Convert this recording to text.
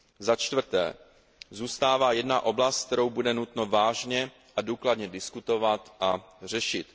Za čtvrté, zůstává jedna oblast, kterou bude nutno vážně a důkladně diskutovat a řešit.